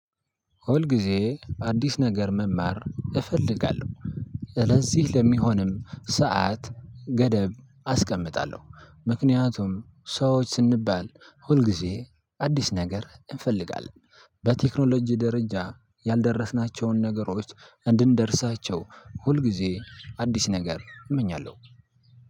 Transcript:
ሁል ጊዜ አዲስ ነገር መማር እፈልጋለሁ። ስለዚህ ለሚሆንም ሰዓት ገደብ አስቀጣለሁ ምክንያቱም ሰዎች ስንባል ሁል ጊዜ አዲስ ነገር እንፈልጋለን። በቴክኖሎጂ ደረጃ ያልደረስናቸውን ነገሮች እንድንደርሳቸው ሁል ጊዜ አዲስ ነገር እመኛለሁ።